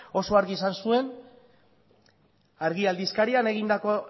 oso argi esan zuen argia aldizkarian egindako